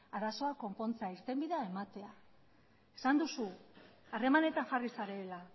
irtenbidea ematea esan duzu harremanetan jarri zarela